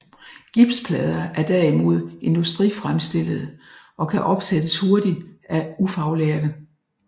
Gipsplader er derimod industrifremstillede og kan opsættes hurtigt af ufaglærte